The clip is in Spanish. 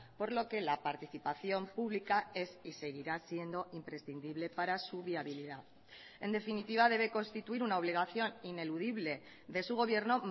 por lo que la participación pública es y seguirá siendo imprescindible para su viabilidad en definitiva debe constituir una obligación ineludible de su gobierno